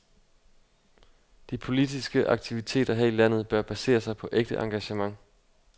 De politiske aktiviteter her i landet bør basere sig på ægte engagement.